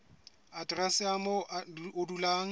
aterese ya moo o dulang